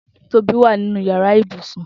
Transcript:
Tobi wà ninú iyàrá ibúsún